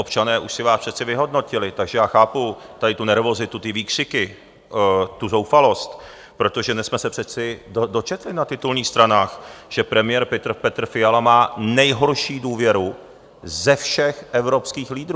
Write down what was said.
Občané už si vás přece vyhodnotili, takže já chápu tady tu nervozitu, ty výkřiky, tu zoufalost, protože my jsme se přece dočetli na titulních stranách, že premiér Petr Fiala má nejhorší důvěru ze všech evropských lídrů.